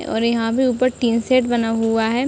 और यहाँ पे उपर टीन सेट बना हुआ है।